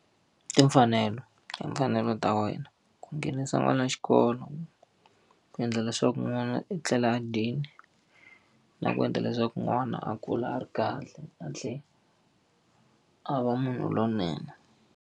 Timfanelo ti mfanelo ta wena. Ku nghenisa n'wana xikolo, ku endla leswaku n'wana u etlela a dyile. Na ku endla leswaku n'wana a kula a ri kahle a tlhela a va munhu lonene.